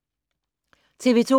TV 2